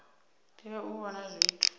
tea u vha na zwithu